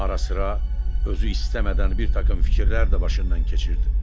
Arasıra özü istəmədən bir taqım fikirlər də başından keçirdi.